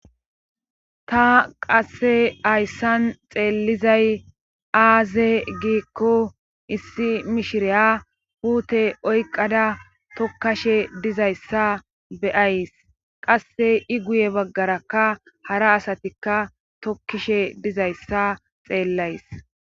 ta qasse hayssan xeellizay aaze giikko issi mishiriya puute oyqada tokkashe dizayssa beyays qasse i guye baggarakka hara asatikka tokkishe dizayssa xeellays